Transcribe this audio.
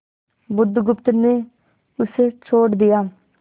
बुधगुप्त ने उसे छोड़ दिया